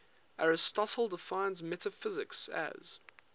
aristotle defines metaphysics as